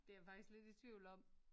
Det er jeg faktisk lidt i tvivl om